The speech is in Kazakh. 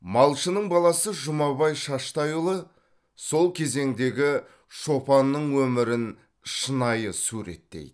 малшының баласы жұмабай шаштайұлы сол кезеңдегі шопанның өмірін шынайы суреттейді